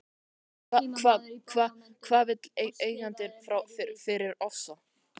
En hvað vill eigandinn fá fyrir Ofsa?